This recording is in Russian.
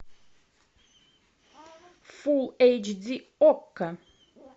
фулл эйч ди окко